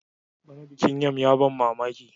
bana bikin yam ya ban mamaki